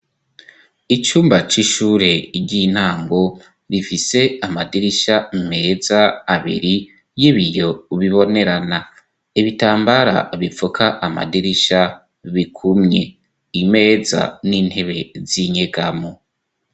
Icumba c'ishure ry'intango bifise amadirisha meza abiri y'ibiyo bibonerana ibitambara bipfuka amadirisha bikumye imeza n'intebe z'inyegamo.